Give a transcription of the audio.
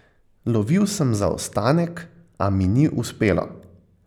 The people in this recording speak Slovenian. Lovil sem zaostanek, a mi ni uspelo.